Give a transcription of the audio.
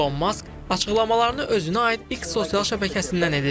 İlon Mask açıqlamalarını özünə aid X sosial şəbəkəsindən edir.